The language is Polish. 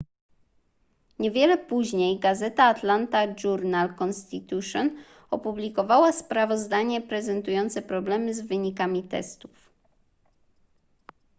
niewiele później gazeta atlanta journal-constitution opublikowała sprawozdanie prezentujące problemy z wynikami testów